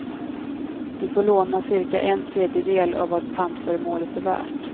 Du får låna cirka en tredjedel av vad pantföremålet är värt.